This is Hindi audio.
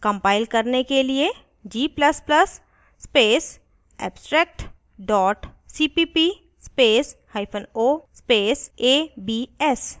compile करने के लिए: